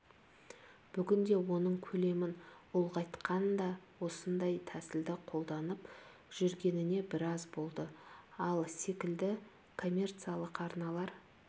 бүгінде оның көлемін ұлғайтқан де осындай тәсілді қолданып жүргеніне біраз болды ал секілді коммерциялық арналар